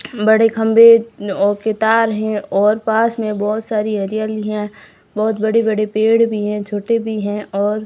बड़े खंभे औ के तार हैं और पास में बहुत सारी हरियाली है बहुत बड़ी बड़ी पेड़ भी हैं छोटे भी हैं और--